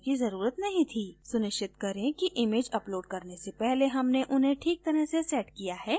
सुनिश्चित करें कि इमैज upload करने से पहले हमने उन्हें ठीक तरह से set किया है